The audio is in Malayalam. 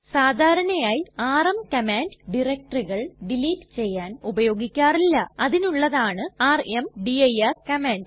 സാധാരണയായി ആർഎം കമാൻഡ് ഡയറക്ടറികൾ ഡിലീറ്റ് ചെയ്യാൻ ഉപയോഗിക്കാറില്ല അതിനുള്ളതാണ് ർമ്ദിർ കമാൻഡ്